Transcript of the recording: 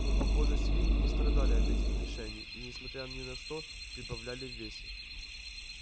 но похоже свиньи не страдали от этих лишений и несмотря ни на что прибавляли в весе